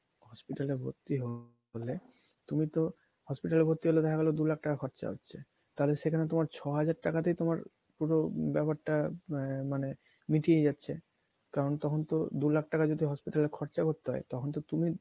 hospital এ ভর্তি হলে তুমি তো hospital এ ভর্তি হলে দেখা গেলো দু লাখ টাকা খরচা হচ্ছে তাহলে সেখানে তোমার ছ হাজার টাকাতেই তোমার পুরো ব্যাপার টা আহ মানে মিটিয়ে যাচ্ছে কারণ তখন তো দু লাখ টাকা যদি hospital এ খরচা করতে হয় তখন তো তুমি